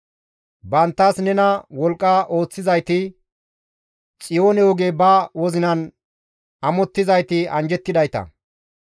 Banttas nena wolqqa ooththizayti, Xiyoone oge ba wozinan amottizayti anjjettidayta.